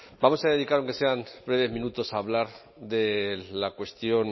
vamos a dedicar aunque sean breves minutos a hablar de la cuestión